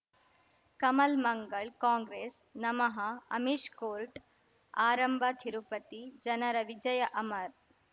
ಕಮಲ್ ಮಂಗಳ್ ಕಾಂಗ್ರೆಸ್ ನಮಃ ಅಮಿಷ್ ಕೋರ್ಟ್ ಆರಂಭ ತಿರುಪತಿ ಜನರ ವಿಜಯ ಅಮರ್